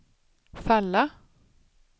falla